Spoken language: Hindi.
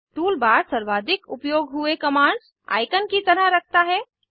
टूलबार सर्वाधिक उपयोग हुए कमांड्स आईकन की तरह रखता है